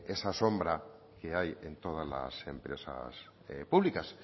esa sombra que hay en todas las empresas públicas